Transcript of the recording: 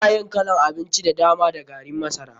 Ana yin kalan abinci da dama da garin masara.